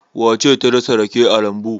Wace ce ta dasa rake a lambu?